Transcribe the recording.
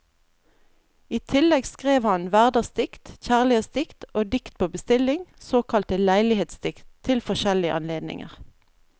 I tillegg skrev han hverdagsdikt, kjærlighetsdikt og dikt på bestilling, såkalte leilighetsdikt, til forskjellige anledninger.